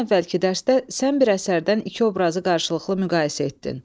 Bundan əvvəlki dərsdə sən bir əsərdən iki obrazı qarşılıqlı müqayisə etdin.